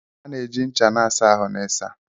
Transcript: A na-eji ncha na-asa ahụ na ịsa.